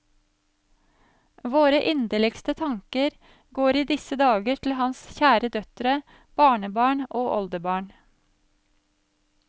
Våre inderligste tanker går i disse dager til hans kjære døtre, barnebarn og oldebarn.